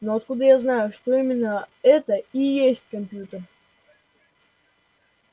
но откуда я знаю что именно это и есть компьютер